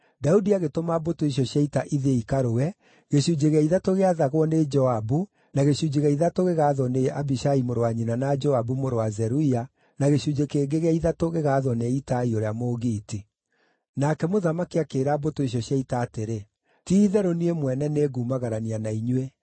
Daudi agĩtũma mbũtũ icio cia ita ithiĩ ikarũe, gĩcunjĩ gĩa ithatũ gĩathagwo nĩ Joabu, na gĩcunjĩ gĩa ithatũ gĩathagwo nĩ Abishai mũrũ wa nyina na Joabu, mũrũ wa Zeruia, na gĩcunjĩ kĩngĩ gĩa ithatũ gĩgaathwo nĩ Itai ũrĩa Mũgiiti. Nake mũthamaki akĩĩra mbũtũ icio cia ita atĩrĩ, “Ti-itherũ niĩ mwene nĩngumagarania na inyuĩ.”